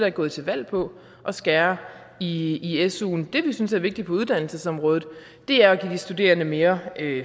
ikke gået til valg på at skære i i suen det vi synes er vigtigt på uddannelsesområdet er at give de studerende mere